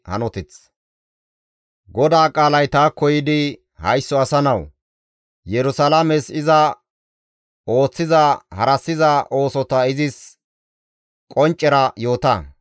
«Haysso asa nawu! Yerusalaames iza ooththiza harassiza oosota izis qonccera yoota.